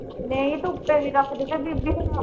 ਨਹੀਂ ਤੇ ਉੱਪਰ ਰੱਖਦੇ ਤੇ ਦੂਜੀ।